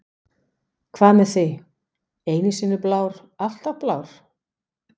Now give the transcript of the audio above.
Hvað með þig, einu sinni blár, alltaf blár?